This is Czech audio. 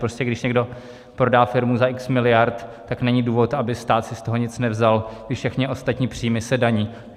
Prostě když někdo prodá firmu za x miliard, tak není důvod, aby stát si z toho nic nevzal, když všechny ostatní příjmy se daní.